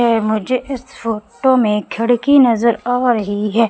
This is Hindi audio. मुझे इस फोटो में खिड़की नजर आ रही है।